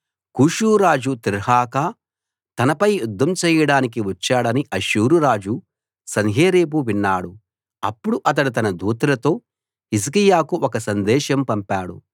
కూషు రాజు తిర్హాకా తనపై యుద్ధం చేయడానికి వచ్చాడని అష్షూరురాజు సన్హెరీబు విన్నాడు అప్పుడు అతడు తన దూతలతో హిజ్కియాకు ఒక సందేశం పంపాడు